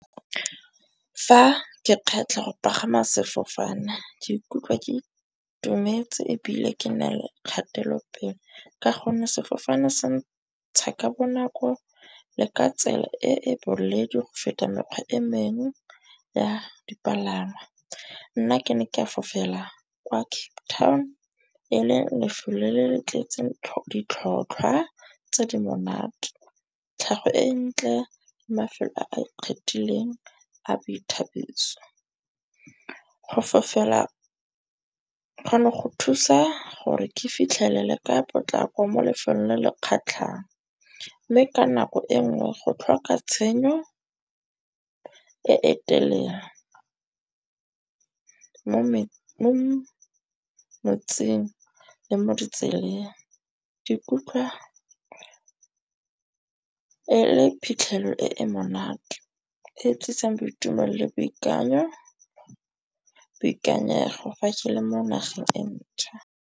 Fa ke kgetlha go pagama sefofane ke ikutlwa ke itumetse ebile ke na le kgatelopele. Ka gonne sefofane se ntsha ka bonako le ka tsela e e boreledi go feta mekgwa e mengwe ya dipalangwa. Nna ke ne ke fofela kwa Cape Town own e leng lefelo le le le tletseng ditlhotlhwa tse di monate, tlhago e ntle, mafelo a a ikgethileng a boithabiso. Go fofela kgona go thusa gore ke fitlhelele ka potlako mo lefelong le le kgatlhang. Mme ka nako e nngwe go tlhoka tshenyo e e telele mo metsing le mo ditseleng di ikutlwa e le phitlhelelo e e monate. E tlisang boitumelo le boikanyo boikanyego fa e ntšha.